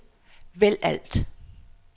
vælg alt